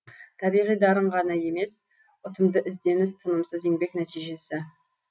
табиғи дарын ғана емес ұтымды ізденіс тынымсыз еңбек нәтижесі